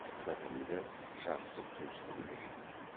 бітімді жақсы туысты білдіреді